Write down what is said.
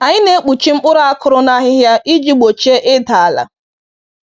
Anyị na-ekpuchi mkpụrụ a kụrụ na ahịhịa iji gbochie ịda ala.